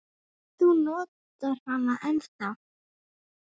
Þú notar hana ennþá.